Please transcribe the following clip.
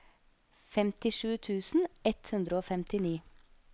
femtisju tusen ett hundre og femtini